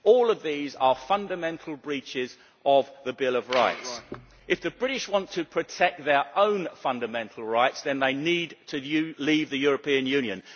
All of these are fundamental breaches of the Bill of Rights. If the British want to protect their own fundamental rights, then they need to leave the European Union.